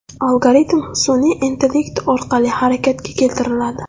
Algoritm sun’iy intellekt orqali harakatga keltiriladi.